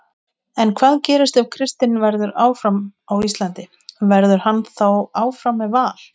En hvað gerist ef Kristinn verður áfram á Íslandi, verður hann þá áfram með Val?